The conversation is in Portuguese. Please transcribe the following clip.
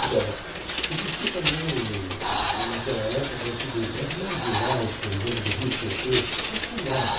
Agora, existia também hum hum naquela época o seguinte, as marginais, por exemplo, do Rio Tietê, não tinha nada.